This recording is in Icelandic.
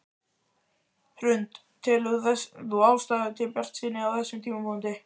Hrund: Telur þú ástæðu til bjartsýni á þessum tímapunkti?